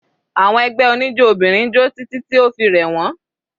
Àwọn ẹgbẹ́ oníjó obìnrin jó títí tí o fi rẹ̀ wọ́n.